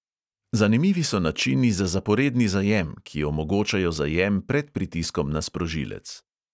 Zanimivi so načini za zaporedni zajem, ki omogočajo zajem pred pritiskom na sprožilec.